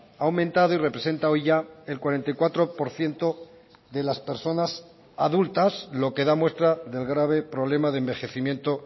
ha aumentado y representa hoy ya el cuarenta y cuatro por ciento de las personas adultas lo que da muestra del grave problema de envejecimiento